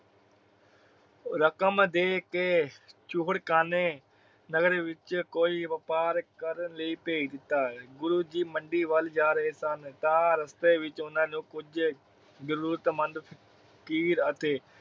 ਰਕਮ ਦੇ ਕੇ ਚੂਹੜ ਕਾਨੇ ਨਗਰ ਵਿਚ ਕੋਈ ਵਪਾਰ ਕਰਨ ਲਈ ਭੇਜ ਦਿਤਾ। ਗੁਰੂ ਜੀ ਮੰਡੀ ਵੱਲ ਜਾ ਰਹੇ ਸਨ ਤਾ ਰਸਤੇ ਵਿਚ ਓਹਨਾ ਨੂੰ ਕੁਜ ਜਰੂਰਤ ਮੰਦ ਫ਼ਕੀਰ ਅਤੇ